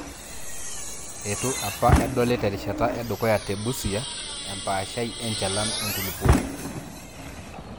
Eitu apa edoli terishata edukuya te Busia empaashai enchalan enkulupuoni.